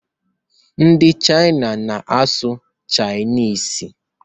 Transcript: Ndị Chịna na-asụ Chịniz.